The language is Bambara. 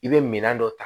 I bɛ minɛn dɔ ta